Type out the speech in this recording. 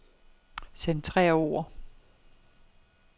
Centrer ord.